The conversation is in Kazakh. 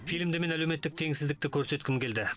фильмде мен әлеуметтік теңсіздікті көрсеткім келді